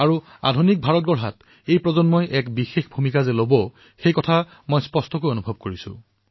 আৰু আধুনিক ভাৰত নিৰ্মাণত এই প্ৰজন্মৰ দায়িত্ব সৰ্বাধিক হব বুলি মই স্পষ্টভাৱে অনুভৱ কৰিছো